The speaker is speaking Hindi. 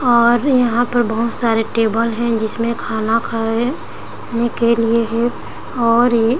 और यहाँ पर बहुत सारे टेबल है जिसमे खाना खाह ने के लिए है और इ --